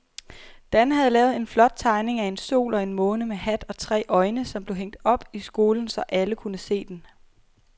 Dan havde lavet en flot tegning af en sol og en måne med hat og tre øjne, som blev hængt op i skolen, så alle kunne se den.